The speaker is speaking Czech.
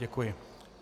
Děkuji.